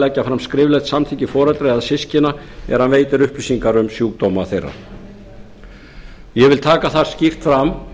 leggja fram skriflegt samþykki foreldra eða systkina þegar hann veitir upplýsingar um sjúkdóma þeirra ég vil taka það skýrt fram